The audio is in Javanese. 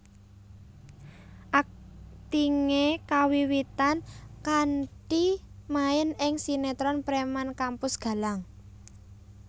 Aktingé kawiwitan kanthi main ing sinetron Preman Kampus Galang